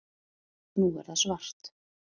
Nú er það svart